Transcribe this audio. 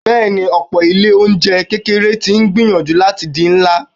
Bẹẹni, ọ̀pọ̀ Ilé-oúnjẹ kékeré tí ń gbìyànjú láti di ńlá.